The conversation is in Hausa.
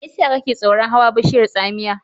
Me yasa kake tsoron hawa bishiyar tsamiya?